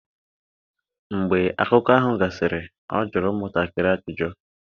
Mgbe akụkọ ahụ gasịrị, ọ jụrụ ụmụntakịrị ajụjụ.